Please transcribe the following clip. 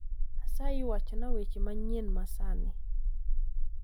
Asayi wachna weche manyien masani